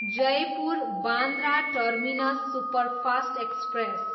Jaipur, Bandra terminus superfast express